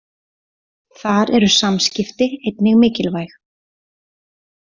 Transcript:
Þar eru samskipti einnig mikilvæg.